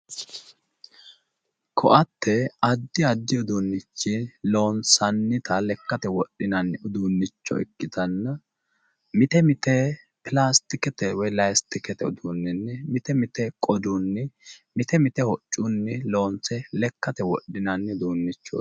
Koatte addi addi uduunnichii loonsannita lekkate wodhinanni uduunnicho ikkitanna mite mite pilaastikete woyi laastikete uduunninni mite mite qodunni mite mite hoccunni loonse lekkate wodhinanni.